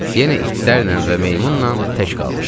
Yenə itlərlə və meymunla tək qalmışdım.